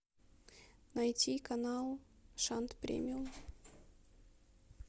найти канал шант премиум